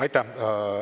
Aitäh!